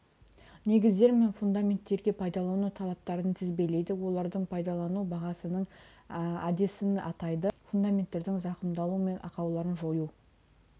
негіздермен мен фундаменттерге пайдалану талаптарын тізбелейді олардың пайдалану бағасының әдісін атайды фундаменттердің зақымдалу мен ақауларын жою